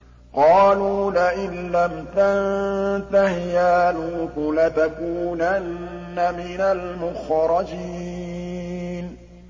قَالُوا لَئِن لَّمْ تَنتَهِ يَا لُوطُ لَتَكُونَنَّ مِنَ الْمُخْرَجِينَ